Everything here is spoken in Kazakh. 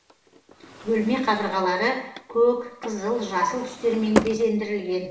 бөлме қабырғалары көк қызыл жасыл түстермен безендірілген